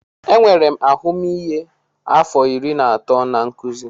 Enwere m ahụmịhe afọ iri atọ na nkuzi.